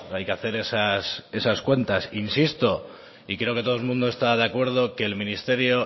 hay que hacer esas cuentas insisto y creo que todo el mundo está de acuerdo que el ministerio